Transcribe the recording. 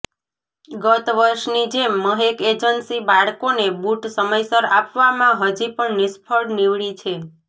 ગત વર્ષની જેમ મહેક એજન્સી બાળકોને બુટ સમયસર આપવામાં હજી પણ નિષ્ફળ નિવડી છે